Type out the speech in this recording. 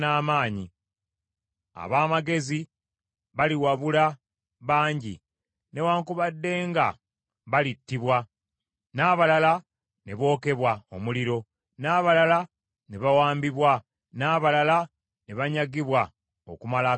“Ab’amagezi baliwabula bangi, newaakubadde nga balittibwa, n’abalala ne bookebwa omuliro, n’abalala ne bawambibwa, n’abalala ne banyagibwa okumala akaseera katono.